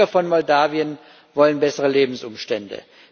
Die Bürger von Moldawien wollen bessere Lebensumstände.